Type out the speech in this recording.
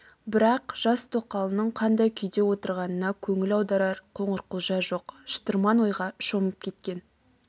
бірақ жас тоқалының қандай күйде отырғанына көңіл аударар қоңырқұлжа жоқ шытырман ойға шомып кеткен